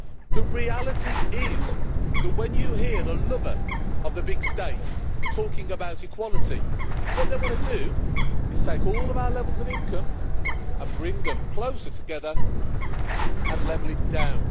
The reality is that when you hear the lover of the big state talking about equality, what they want to do is take all of our levels of income and bring them closer together and level it down.